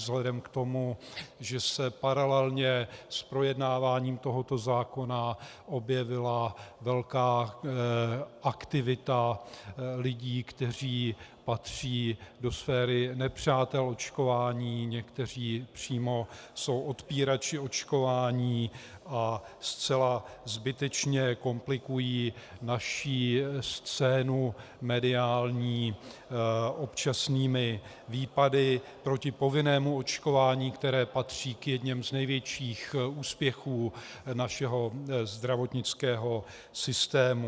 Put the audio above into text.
Vzhledem k tomu, že se paralelně s projednáváním tohoto zákona objevila velká aktivita lidí, kteří patří do sféry nepřátel očkování, někteří přímo jsou odpírači očkování a zcela zbytečně komplikují naši scénu mediální občasnými výpady proti povinnému očkování, které patří k jedněm z nejlepších úspěchů našeho zdravotnického systému.